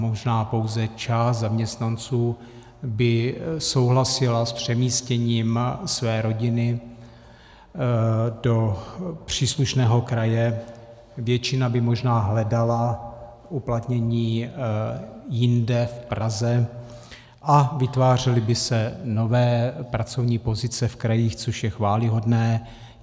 Možná pouze část zaměstnanců by souhlasila s přemístěním své rodiny do příslušného kraje, většina by možná hledala uplatnění jinde v Praze, a vytvářely by se nové pracovní pozice v krajích, což je chvályhodné.